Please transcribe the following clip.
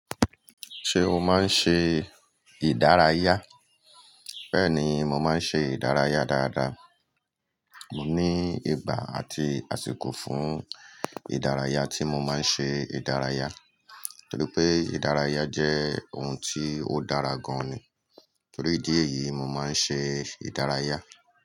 Ṣé o máa ń ṣe ìdárayá? Bẹ́ẹ̀ni mo máa ń ṣe ìdárayá dáadáa. Mo ní ìgbà àti àsìkò fún ìdárayá tí mo máa ń ṣe ìdárayá, torípé ìdárayá jẹ́ ohun tí ó dára gan ni. Torí dí èyí, mo máa ń ṣe ìdárayá.